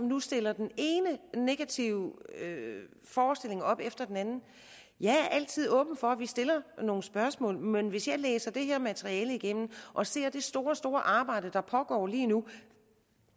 nu stiller den ene negative forestilling op efter den anden jeg er altid åben for at vi stiller nogle spørgsmål men hvis jeg læser det her materiale igennem og ser det store store arbejde der pågår lige nu